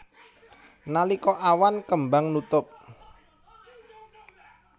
Nalika awan kembang nutup